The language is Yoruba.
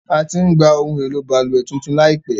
A ti ń gba ohun èlò balùwẹ̀ tuntun láìpẹ́.